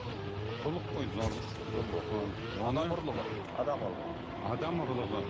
зорлық қой зорлық зомбылық адам ұрлығы адам ұрлығы